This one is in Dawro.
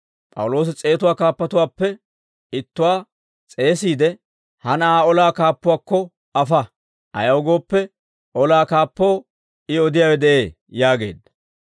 P'awuloosi s'eetatuwaa kaappatuwaappe ittuwaa s'eesiide, «Ha na'aa olaa kaappuwaakko afa; ayaw gooppe, olaa kaappoo I odiyaawe de'ee» yaageedda.